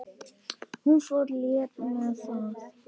Hún fór létt með það.